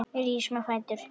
Við rísum á fætur.